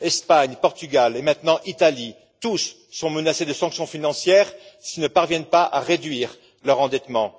Espagne, Portugal et maintenant Italie tous sont menacés de sanctions financières s'ils ne parviennent pas à réduire leur endettement.